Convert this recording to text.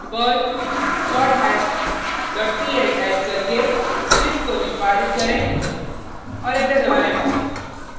perl sorthash dot pl type करके script को निष्पादित करें और एंटर दबाएँ